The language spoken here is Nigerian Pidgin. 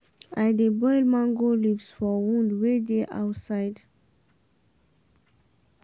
i dey boil mango leaves for wound wey dey outside.